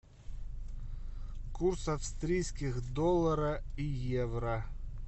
курс австрийских доллара и евро